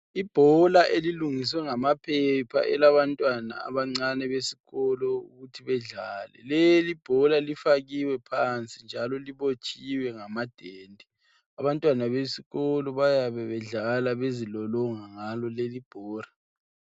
Ibhola elilungiswa ngamaphepha elabantwana abancane besikolo ukuthi bedlale. Lelibhola lifakiwe phansi njalo libotshiwe ngamadende. Abantwana bezikolo bayabe bedlala bezilolonga ngalo lelibhola